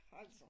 Altså